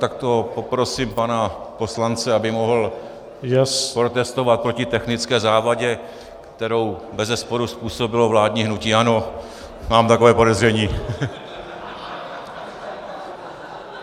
Tak to poprosím pana poslance, aby mohl protestovat proti technické závadě, kterou bezesporu způsobilo vládní hnutí ANO, mám takové podezření .